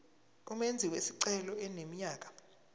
umenzi wesicelo eneminyaka